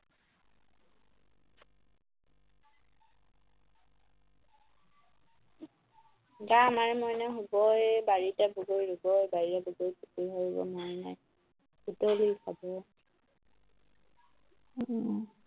গা আমাৰে মইনা শুব এ বাৰীতে বগৰী ৰুৱ এ বাৰীৰে বগৰী পকী সৰিব মইনাই বুটলি খাব উম